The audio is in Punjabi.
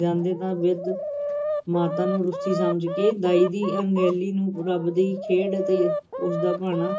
ਜਾਂਦੇ, ਤਾਂ ਵਿਧ-ਮਾਤਾ ਨੂੰ ਰੁੱਸੀ ਸਮਝ ਕੇ ਦਾਈ ਦੀ ਅਣਗਹਿਲੀ ਨੂੰ ਰੱਬ ਦੀ ਖੇਡ ਤੇ ਉਸਦਾ ਭਾਣਾ